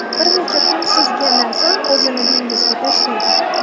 Bir necha kun suzgandan so‘ng o‘zini dengizga tashlaydi.